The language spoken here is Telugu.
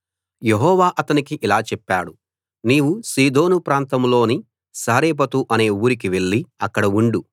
యెహోవా అతనితో ఇలా చెప్పాడు నీవు సీదోను ప్రాంతంలోని సారెపతు అనే ఊరికి వెళ్లి అక్కడ ఉండు